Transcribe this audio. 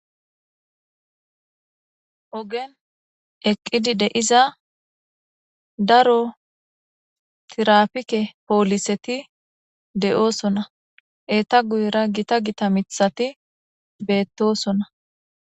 Ogen eqqidi de7iza daro tiraafike pooliseti de7osona.eeta guyera gita gita miththati beettosona.